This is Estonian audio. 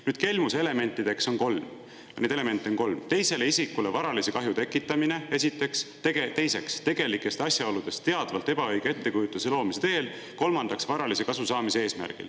Nüüd, kelmuse elemente on kolm: esiteks, teisele isikule varalise kahju tekitamine; teiseks, tegelikest asjaoludest teadvalt ebaõige ettekujutuse loomine; kolmandaks, varalise kasu saamine.